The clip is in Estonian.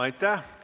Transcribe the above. Aitäh!